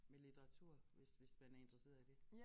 Med litteratur hvis hvis man er interesseret i det